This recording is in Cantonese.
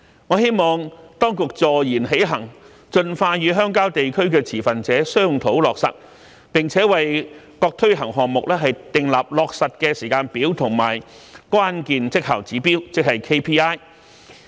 我希望當局坐言起行，盡快與鄉郊地區的持份者商討落實，並為各推行項目訂立落實的時間表和關鍵績效指標，即 KPI。